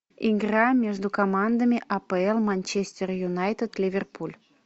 игра между командами апл манчестер юнайтед ливерпуль